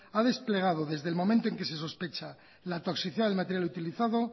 ha desplegado desde el momento en que se sospecha la toxicidad del material utilizado